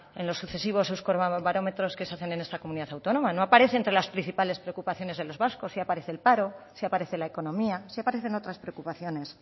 en los sucesivos euskobarómetros que se hacen en esta comunidad autónoma no aparece entre las principales preocupaciones de los vascos sí aparece el paro sí aparece la economía sí aparecen otras preocupaciones